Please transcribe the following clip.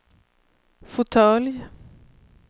fåtölj